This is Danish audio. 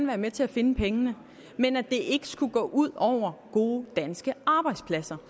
være med til at finde pengene men at det ikke skulle gå ud over gode danske arbejdspladser